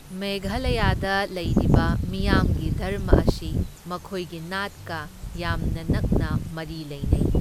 ꯃꯦꯘꯥꯂꯌꯥꯗ ꯂꯩꯔꯤꯕ ꯃꯤꯌꯥꯝꯒꯤ ꯙꯔꯃ ꯑꯁꯤ ꯃꯈꯣꯏꯒꯤ ꯅꯥꯠꯀ ꯌꯥꯝꯅ ꯅꯛꯅ ꯃꯔꯤ ꯂꯩꯅꯩ꯫